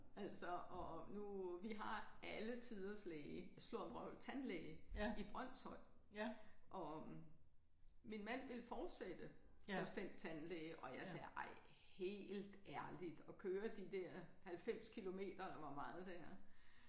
Altså og nu vi har alle tiders læge sludder og vrøvl tandlæge i Brønshøj og min mand vil fortsætte hos den tandlæge og jeg siger ej helt ærligt at køre de der 90 kilometer eller hvor meget det er